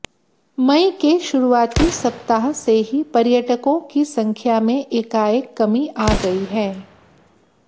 मई के शुरुआती सप्ताह से ही पर्यटकों की संख्या में एकाएक कमी आ गई है